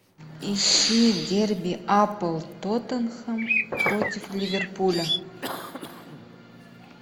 ищи дерби апл тоттенхэм против ливерпуля